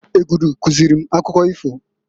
Egudu kuzili m akụkọ ifo.